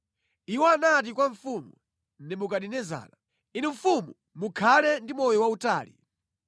Iwo anati kwa mfumu Nebukadinezara, “Inu mfumu mukhale ndi moyo wautali!